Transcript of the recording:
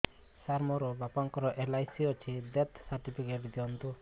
ସାର ମୋର ବାପା ଙ୍କର ଏଲ.ଆଇ.ସି ଅଛି ଡେଥ ସର୍ଟିଫିକେଟ ଦିଅନ୍ତୁ